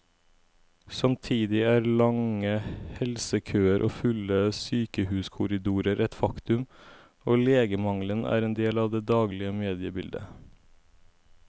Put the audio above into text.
Samtidig er lange helsekøer og fulle sykehuskorridorer et faktum, og legemangelen er en del av det daglige mediebildet.